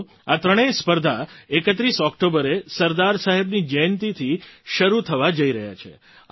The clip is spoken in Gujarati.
સાથીઓ આ ત્રણેય સ્પર્ધા 31 ઑક્ટોબરે સરદાર સાહેબની જયંતીથી શરૂ થવા જઈ રહી છે